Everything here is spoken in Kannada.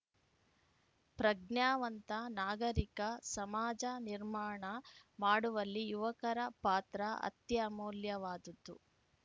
ಪ್ರಜ್ಞಾವಂತ ನಾಗರಿಕ ಸಮಾಜ ನಿರ್ಮಾಣ ಮಾಡುವಲ್ಲಿ ಯುವಕರ ಪಾತ್ರ ಅತ್ಯಮೂಲ್ಯವಾದದ್ದು